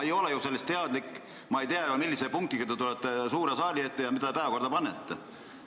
Niimoodi ma ei tea, milliste punktidega te tulete suurde saali ja mida te päevakorda panete.